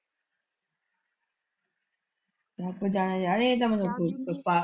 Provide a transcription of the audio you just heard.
ਰੱਬ ਜਾਣੇ ਜਾਏ ਇਹ ਤਾਂ ਮਤਲਬ ਕੁੱਝ ਪਛਤਾਵ।